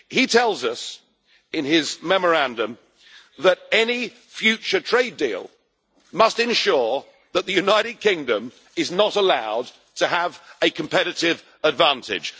He tells us in his memorandum that any future trade deal must ensure that the United Kingdom is not allowed to have a competitive advantage.